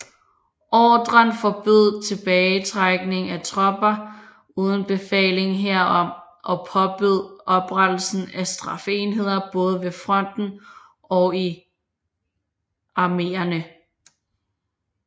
Ordren forbød tilbagetrækning af tropper uden befaling herom og påbød oprettelse af straffeenheder både ved fronten og i arméerne